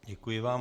Děkuji vám.